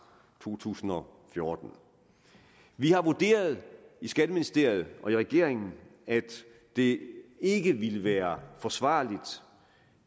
to tusind og fjorten vi har vurderet i skatteministeriet og i regeringen at det ikke ville være forsvarligt